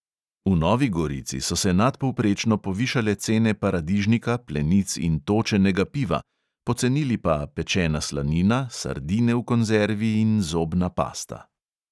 V novi gorici so se nadpovprečno povišale cene paradižnika, plenic in točenega piva, pocenili pa pečena slanina, sardine v konzervi in zobna pasta.